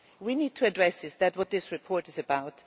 We need to address this, and that is what this report is about.